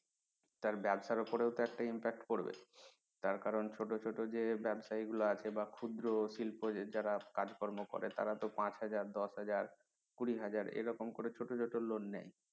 তার ব্যাবসার উপরে ও তো একটা impact পড়বে তার কারন ছোট ছোট যে ব্যাবসায়ী গুলো আছে বা ক্ষুদ্র শিল্প যে যারা কাজ কর্ম করে তারা তো পাঁচ হাজার দশ হাজার কুড়ি হাজার এরকম করে ছোট loan নেয়